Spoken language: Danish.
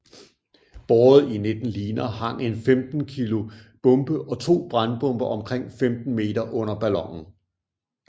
Båret i 19 liner hang en 15 kg bombe og to brandbomber omkring 15 meter under ballonen